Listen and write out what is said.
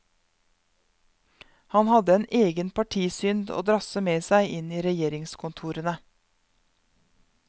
Han hadde en egen partisynd å drasse med seg inn i regjeringskontorene.